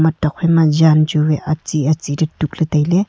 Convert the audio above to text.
thokphaima jan chu wai acchi acchi le tukley tailay.